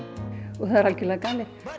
það er algjörlega galið og